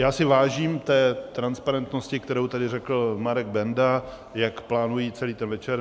Já si vážím té transparentnosti, kterou tady řekl Marek Benda, jak plánují celý ten večer.